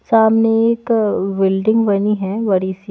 सामने एक बिल्डिंग बनी है बड़ी सी--